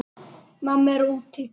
Mamma er úti.